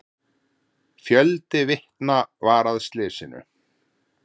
Fjöldi vitna var að slysinu.